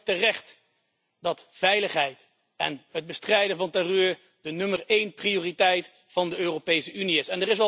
Het is dan ook terecht dat veiligheid en het bestrijden van terreur de allereerste prioriteit van de Europese Unie is.